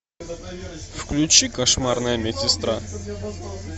включи кошмарная медсестра